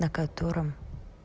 на котором